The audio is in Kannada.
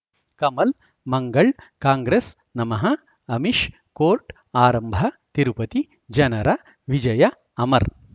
ಕಮಲ್ ಮಂಗಳ್ ಕಾಂಗ್ರೆಸ್ ನಮಃ ಅಮಿಷ್ ಕೋರ್ಟ್ ಆರಂಭ ತಿರುಪತಿ ಜನರ ವಿಜಯ ಅಮರ್